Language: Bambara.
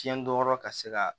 Fiɲɛ dɔnyɔrɔ ka se ka